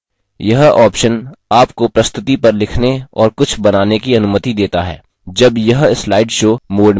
यह option आपको प्रस्तुति पर लिखने और कुछ बनाने की अनुमति देता है जब यह slide show mode में हो